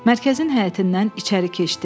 Mərkəzin həyətindən içəri keçdi.